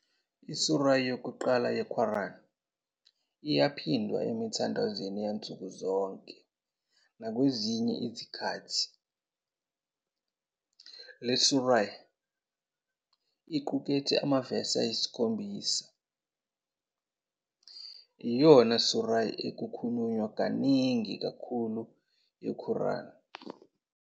I- surah yokuqala ye-Quran iyaphindwa emithandazweni yansuku zonke nakwezinye izikhathi. Le surah, equkethe amavesi ayisikhombisa, iyona surah ekhulunywa kaningi kakhulu yeQuran,